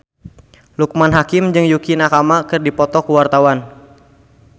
Loekman Hakim jeung Yukie Nakama keur dipoto ku wartawan